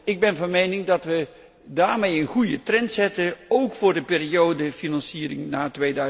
Ik ben van mening dat we daarmee een goede trend zetten, ook voor de financiering na